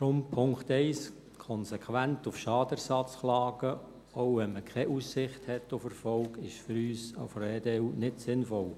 Deshalb, Punkt 1: Konsequent auf Schadenersatz zu klagen, auch wenn man keine Aussicht auf Erfolg hat, ist für uns von der EDU nicht sinnvoll.